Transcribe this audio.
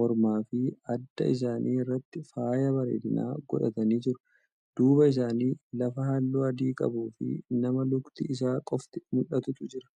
mormaafi adda isaanii irratti faaya bareedina godhatanii jiru. duuba isaanii lafa halluu adii qabuufi nama lukni Isaa qofti mul'atutu Jira.